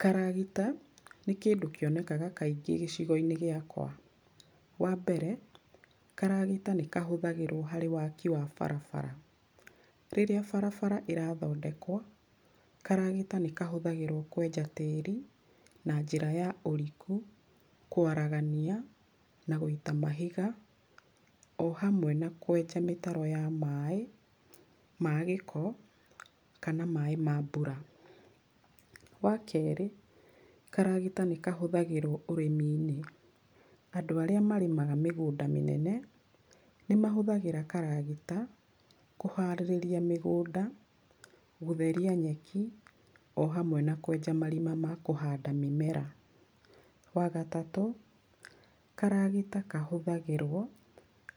Karagita, nĩ kĩndũ kĩonekaga kaingĩ gĩcigoinĩ gĩakwa. Wambere, karagita nĩkahũthagĩrwo harĩ waki wa bara. Rĩrĩa bara ĩrathondekwo, karagita nĩkahũthagĩrwo kwenja tĩĩri, na njĩra ya ũriku, kwaragania, na gũita mahiga, ohamwe na kwenja mĩtaro ya maĩ, ma gĩko, kana maĩ ma mbura. Wakerĩ, karagita nĩkahũthagĩrwo ũrĩmiinĩ. Andũ arĩa marĩmaga mĩgũnda mĩnene, nĩmahũthagĩra karagita, kũharĩrĩria mĩgũnda, gũtheria nyeki, ohamwe na kwenja marima ma kũhanda mĩmera. Wagatatũ, karagita kahũthagĩrwo,